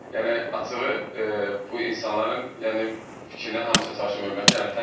Yəni açığı bu insanların yəni fikrinə hamısına çalışıram hörmətlə.